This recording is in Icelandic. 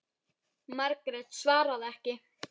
Margrét svaraði ekki.